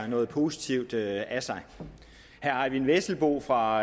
noget positivt af sig herre eyvind vesselbo fra